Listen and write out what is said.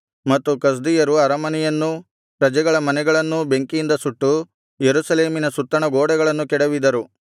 ಮತ್ತು ಕಸ್ದೀಯರು ಅರಮನೆಯನ್ನೂ ಪ್ರಜೆಗಳ ಮನೆಗಳನ್ನೂ ಬೆಂಕಿಯಿಂದ ಸುಟ್ಟು ಯೆರೂಸಲೇಮಿನ ಸುತ್ತಣ ಗೋಡೆಗಳನ್ನು ಕೆಡವಿದರು